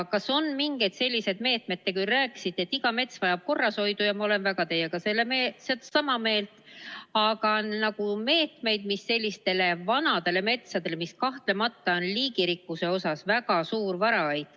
Kas on mingeid meetmeid – te küll rääkisite, et iga mets vajab korrashoidu, ja ma olen teiega väga sama meelt – sellistele vanadele metsadele, mis kahtlemata on liigirikkuse mõttes väga suur varaait?